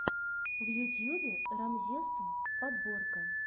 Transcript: в ютьюбе рамзесств подборка